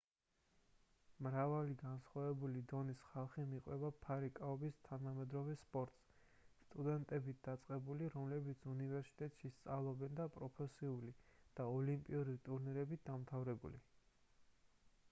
მრავალი განსხვავებული დონის ხალხი მიჰყვება ფარიკაობის თანამედროვე სპორტს სტუდენტებით დაწყებული რომლებიც უნივერსიტეტში სწავლობენ და პროფესიული და ოლიმპიური ტურნირებით დამთავრებული